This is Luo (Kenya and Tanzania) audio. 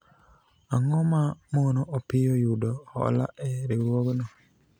ang'o ma mono Opiyo yudo hola e riwruogno